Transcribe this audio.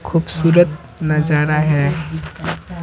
खूबसूरत नजारा है।